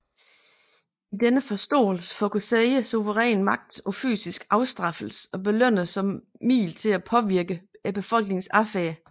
I denne forståelse fokuserer suveræn magt på fysisk afstraffelse og belønninger som middel til at påvirke befolkningens adfærd